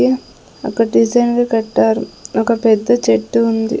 The ఒక డిజైన్లు కట్టారు ఒక పెద్ద చెట్టు ఉంది.